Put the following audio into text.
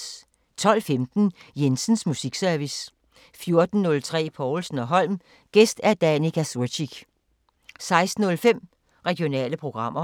12:15: Jensens musiksesrvice 14:03: Povlsen & Holm: Gæst Danica Curcic 16:05: Regionale programmer